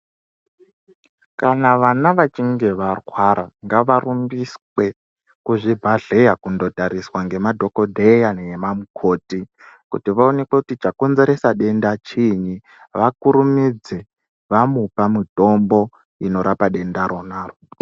Kana vana vachinge varwara ngavarumbiswe kuzvibhadhleya kundotariswa nema dhokodheya ngemamukoti kuti vaonekwe kuti chakonzerese denda chiini vakurumidze vamupa mutombo unorapa denda ronaro.